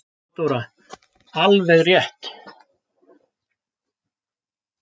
THEODÓRA: Alveg rétt!